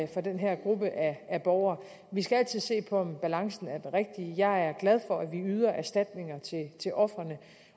den her gruppe af borgere vi skal altid se på om balancen er den rigtige jeg er glad for at vi yder erstatninger til ofrene